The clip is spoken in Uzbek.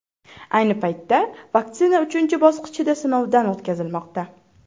Ayni paytda vaksina uchinchi bosqichda sinovdan o‘tkazilmoqda.